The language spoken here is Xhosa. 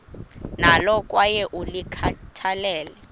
nalo kwaye ulikhathalele